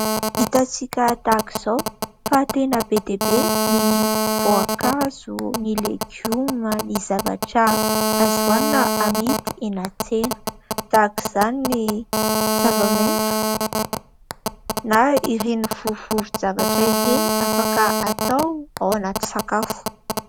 Hitantsika tahak'izao fa tena be dia be ny voankazo ny legioma ny zavatra azo hoanina amidy eny an-tsena tahaka izany ny zava-maitso na ireny vovovovon-javatra ireny afaka atao ao anaty sakafo.